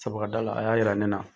Sabu ka da la, a y'a yira ne na.